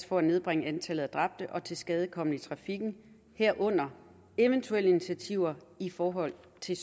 for at nedbringe antallet af dræbte og tilskadekomne i trafikken herunder eventuelle initiativer i forhold til